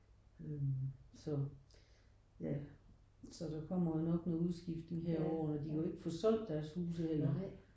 Øh så ja så der kommer jo nok noget udskiftning her over årene. De kan jo ikke få solgt deres huse heller